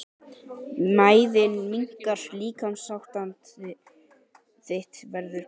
Mæðin minnkar- líkamsástand þitt verður betra.